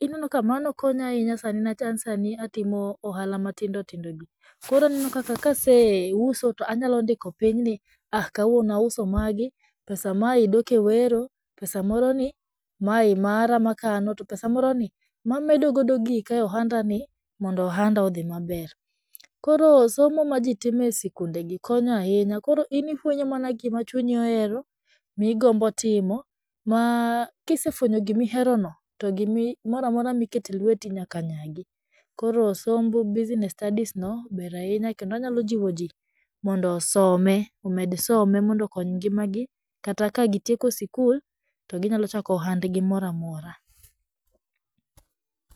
ineno ka mano konya ahinya sani niwach an sani atimo ohala matindotindogi, koro aneno kaka kaseuso to anyalondiko pinyni, aah kawuono auso magi, pesa mae dok e wero, pesa moroni mae mara makano to pesa moroni mamedo godo gika e ohandani mondo ohanda odhii maber, koro somo ma jitimo e skundegi konyo ahinya koro in ifwenyo mana gimachunyi ohero migombo timo ma kisefwenyo gimiherono, to gimoramora mikete lweti nyaka nyagi, koro somb business studies no ber ahinya kendo anyalo jiwo jii mondo osome, omed some mondo okony ngimagi kata ka gitieko skul to ginyalochako ohandgi moramora.